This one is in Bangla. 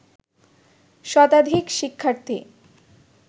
শতাধিক শিক্ষার্থী